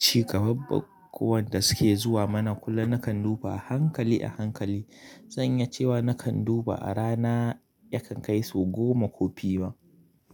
ci gaban bukukuwan da suke zuwa mana kullum na kan duba hankali a hankali. Zan iya cewa na kan duba a rana ya kan kai sau goma ko fi ma.